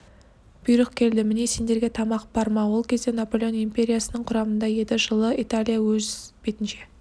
бұйрық келді міне сендерге тамақ парма ол кезде наполеон империясының құрамында еді жылы италия өз бетінше